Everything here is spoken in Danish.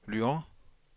Lyon